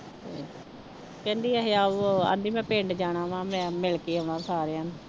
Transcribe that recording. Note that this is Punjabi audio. ਕਹਿੰਦੀ ਇਹ ਆਵੋ ਆਉਂਦੀ ਮੈਂ ਪਿੰਡ ਜਾਣਾ ਵਾਂ ਮੈਂ ਮਿਲਕੇ ਆਉਣਾ ਸਾਰਿਆਂ ਨੂੰ।